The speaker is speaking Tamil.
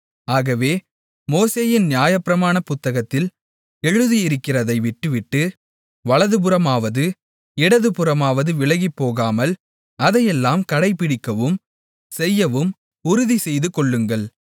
ஆகவே மோசேயின் நியாயப்பிரமாண புத்தகத்தில் எழுதியிருக்கிறதை விட்டுவிட்டு வலதுபுறமாவது இடதுபுறமாவது விலகிப்போகாமல் அதையெல்லாம் கடைபிடிக்கவும் செய்யவும் உறுதி செய்துகொள்ளுங்கள்